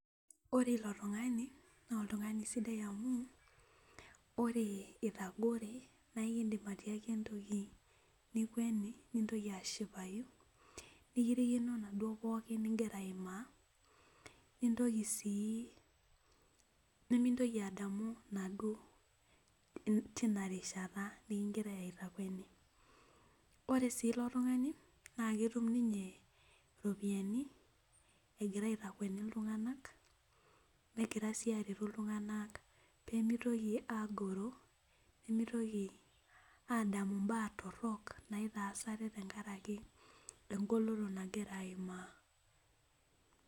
ore ilo tung'ani naa oltung'ani sidai amu ore itagore naa ekidim atiaki entoki nikintakueni nikirikino inaduo pooki nigira aimaa nimintoki adamu inaduo tinarishata nikigirai aitakueni ore sii ilo tung'ani naa ketum ninye iropiyiani , egira aitakueni iltung'anak negira sii aretu iltung'anak pee mitoki aagoro, nimitoki adamu ibaa torok naitaas ate tengaraki egoloto nagira aimaa.